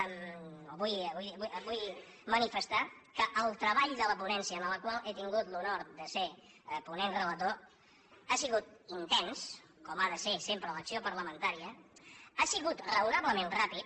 vull manifestar que el tre·ball de la ponència en la qual he tingut l’honor de ser ponent relator ha sigut intens com ha de ser sempre l’acció parlamentària ha sigut raonablement ràpid